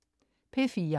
P4: